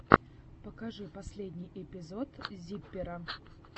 покажи последний эпизод зиппера